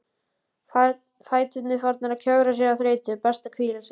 Fæturnir farnir að kjökra af þreytu, best að hvíla sig.